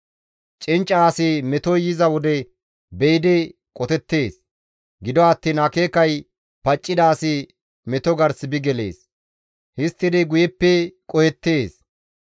Cincca asi metoy yiza wode be7idi qotettees; gido attiin akeekay paccida asi meto gars bi gelees; histtidi guyeppe qohettees.